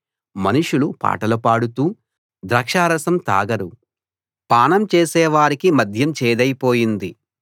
మనుషులు పాటలు పాడుతూ ద్రాక్షారసం తాగరు పానం చేసేవారికి మద్యం చేదైపోయింది